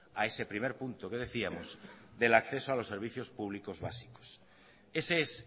a ese primer punto que decíamos del acceso a los servicios públicos básicos ese es